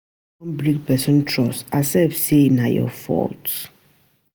If you don break person trust, accept sey na your fault